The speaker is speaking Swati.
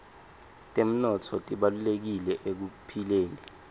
temnotfo tibalulekile ekuphileni